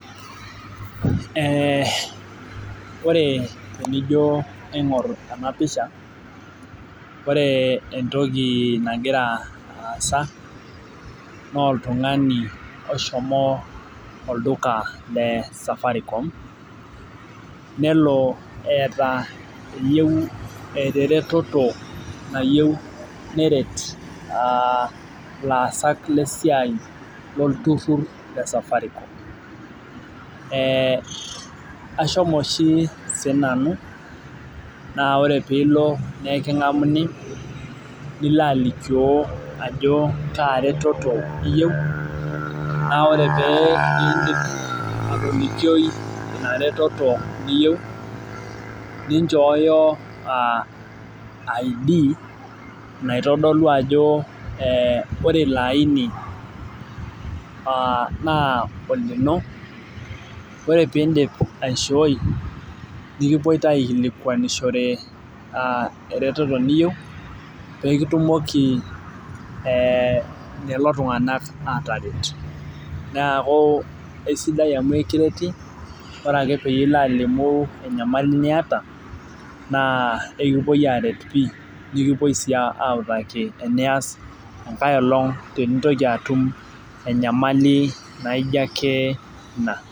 Ee ore tenijo aingor enapisha ore entoki nagira aasa na oltungani oshomo olduka lesafaricom neli eeta eyieu eretoto nayieu neret laasak lesaii lolturur le Safaricom ashomo ashi sinanu nilo alimu ajo kaaretoto iyieu na ore piilo atolikioi inaretoto niyieu ninchooyo id naitodolu ajo ee ore ilo aini naa olino ore pindip aishooi kipuoi pekitumoki kulo tunganak qtaret neaku esidai amu ekireti nikipuoi autaki enias enkailong tenintoki atum enayamali naijo ake ina.